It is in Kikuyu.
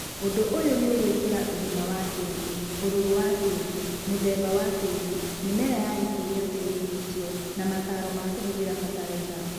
ũndu ũyũ nĩũgũkwĩra ũgima wa tĩri , ũrũrũ wa tĩri, mũthemba wa tĩri, mĩmera ya gũkũrio tĩrinĩ ũcio na mataro ma kũhũthĩra bataraitha.